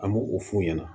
An b'o o f'u ɲɛna